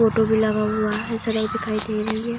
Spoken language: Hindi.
फोटो भी लगा हुआ है सड़क दिखाई दे रही है।